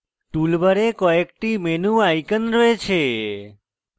tool bar কয়েকটি menu icons রয়েছে